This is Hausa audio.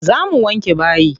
Zo mu wanke bayi.